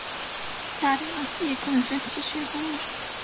Karína, ég kom með fimmtíu og sjö húfur!